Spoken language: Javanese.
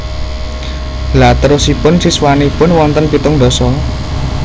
Lha terosipun siswanipun wonten pitung ndasa?